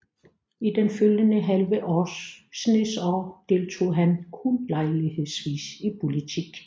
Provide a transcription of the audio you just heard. I den følgende halve snes år deltog han kun lejlighedsvis i politik